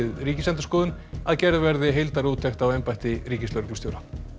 Ríkisendurskoðun að gerð verði heildarúttekt á embætti ríkislögreglustjóra